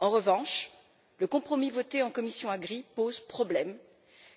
En revanche, le compromis voté en commission de l'agriculture et du développement rural pose problème